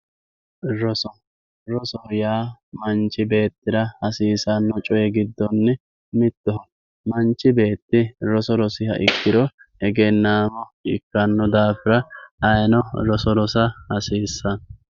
roso rosoho yaa manchi beettira hasiissanno coye giddonni mittoho manchi beetti roso rosiha ikkiro egeenaamo ikkanno daafira ayiino roso rosa hasiissanno.